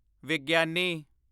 ਵਿਗਿਆਨੀ